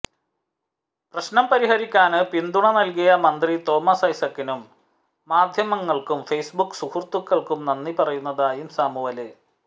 പ്രശ്നം പരിഹരിക്കാന് പിന്തുണ നല്കിയ മന്ത്രി തോമസ് ഐസക്കിനും മാധ്യമങ്ങള്ക്കും ഫെയ്സ്ബുക്ക് സുഹൃത്തുക്കള്ക്കും നന്ദി പറയുന്നതായും സാമുവല്